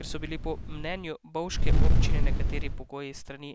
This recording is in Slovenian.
Ker so bili po mnenju bovške občine nekateri pogoji s strani